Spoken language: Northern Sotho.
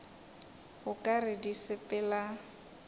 o ka re di sepela